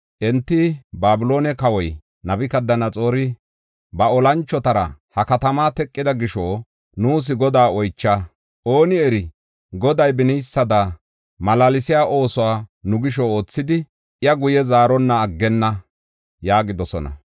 Enti, “Babiloone kawoy Nabukadanaxoori ba olanchotara ha katamaa teqida gisho nuus Godaa oycha. Ooni eri, Goday beniysada malaalsiya oosuwa nu gisho oothidi, iya guye zaaronna aggenna” yaagidosona.